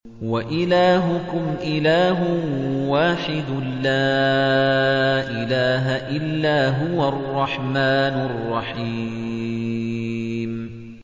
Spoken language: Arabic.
وَإِلَٰهُكُمْ إِلَٰهٌ وَاحِدٌ ۖ لَّا إِلَٰهَ إِلَّا هُوَ الرَّحْمَٰنُ الرَّحِيمُ